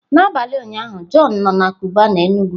N'abalị ụnyaahụ john nọ na Cubana Enugu